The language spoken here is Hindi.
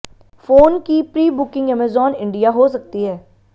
फोन की प्री बुकिंग अमेजॉन इंडिया हो सकती है